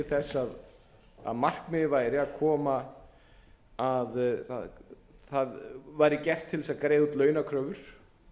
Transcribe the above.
þess að markmiðið væri að koma það væri gert til þess að greiða út launakröfur